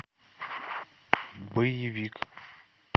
боевик